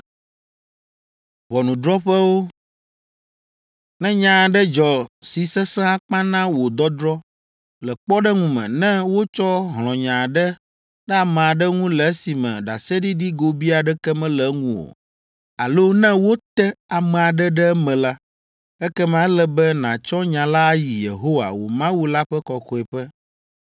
“Ne nya aɖe dzɔ si sesẽ akpa na wò dɔdrɔ̃, le kpɔɖeŋu me, ne wotsɔ hlɔ̃nya aɖe ɖe ame aɖe ŋu le esime ɖaseɖiɖi gobii aɖeke mele eŋu o, alo ne wote ame aɖe ɖe eme la, ekema ele be nàtsɔ nya la ayi Yehowa, wò Mawu la ƒe kɔkɔeƒe,